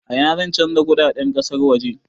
A ina zan canja kudaden kasar waje?